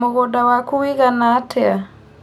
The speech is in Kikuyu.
Mũgũnda waku ũigana atĩa?